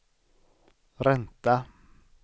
ränta